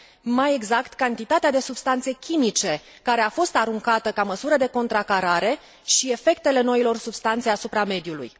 mai exact cantitatea de substanțe chimice care a fost aruncată ca măsură de contracarare și efectele noilor substanțe asupra mediului.